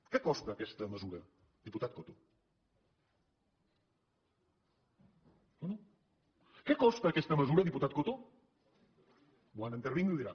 què costa aquesta mesura diputat coto no què costa aquesta mesura diputat coto quan intervingui ho dirà